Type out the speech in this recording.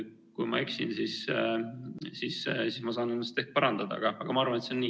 Kui ma eksin, siis ma saan ennast parandada, aga ma arvan, et see on nii.